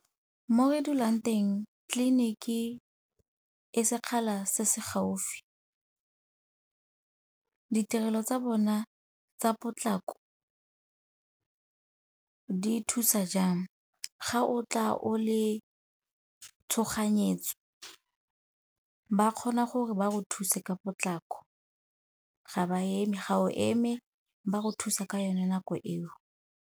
Mo re dulang teng tleliniki e sekgala se se gaufi. Ditirelo tsa bona tsa potlako di thusa jang, ga o tla o le tshoganyetso ba kgona gore ba go thuse ka potlako, ga ba eme, ga o eme ba go thusa ka yone nako eo.